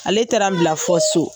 Ale taara bila fɔ so.